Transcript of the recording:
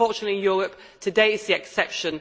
Unfortunately, in Europe, today it is the exception.